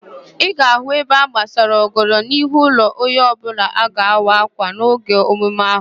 Ị ga-ahụ ebe agbasara ọgọdọ n'ihu ụlọ onye ọbụla a ga-awa ákwà n'oge emume ahụ